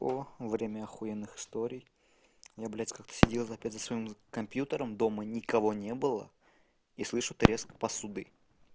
о время охуенных историй я блядь как-то сидел за опять за своим компьютером дома никого не было и слышу треск посуды